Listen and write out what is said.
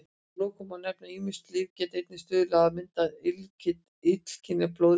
Að lokum má nefna að ýmis lyf geta einnig stuðlað að myndun illkynja blóðleysis.